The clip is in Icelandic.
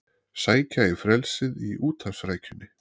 Sækja í frelsið í úthafsrækjunni